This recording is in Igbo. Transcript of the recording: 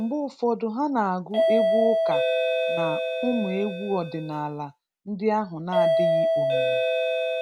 Mgbe ụfọdụ ha na-agụ egwu ụka na ụmụ egwu ọdinala ndị ahụ na-adịghị omimi.